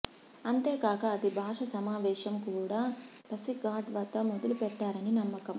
అంతేకాక ఆది భాష సమావేశం కూడా పసిఘాట్ వద్ద మొదలుపెట్టారని నమ్మకం